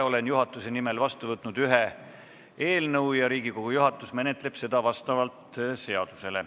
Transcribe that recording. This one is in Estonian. Olen juhatuse nimel vastu võtnud ühe eelnõu ja Riigikogu juhatus menetleb seda seaduse alusel.